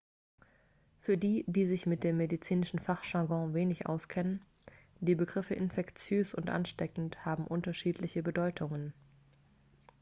für die die sich mit dem medizinischen fachjargon wenig auskennen die begriffe infektiös und ansteckend haben unterschiedliche bedeutungen